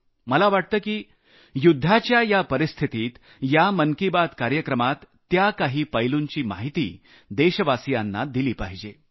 मला वाटतं की युद्धाच्या या परिस्थितीत या मन की बात कार्यक्रमात त्या काही पैलूंची माहिती देशवासियांना दिली पाहिजे